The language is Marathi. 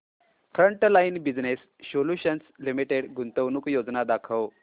फ्रंटलाइन बिजनेस सोल्यूशन्स लिमिटेड गुंतवणूक योजना दाखव